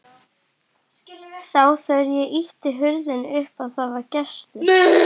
Sá þegar ég ýtti hurðinni upp að það var gestur.